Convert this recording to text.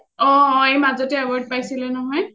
অ অ মাজতে award পাইছিলে নহয়